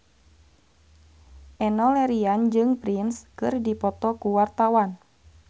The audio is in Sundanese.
Enno Lerian jeung Prince keur dipoto ku wartawan